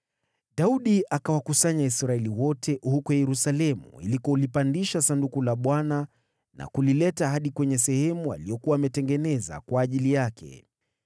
Daudi akawakusanya Israeli wote huko Yerusalemu ili kulipandisha Sanduku la Bwana na kulileta hadi kwenye sehemu aliyokuwa ametengeneza kwa ajili yake.